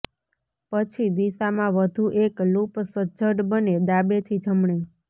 પછી દિશામાં વધુ એક લૂપ સજ્જડ બને ડાબેથી જમણે